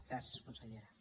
gràcies consellera